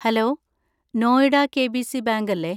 Hello, Noida KBC. Bank അല്ലെ?